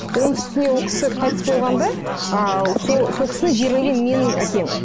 оның үстіне ол кісі қайтыс болғанда ы сол сол кісіні жерлеген менің әкем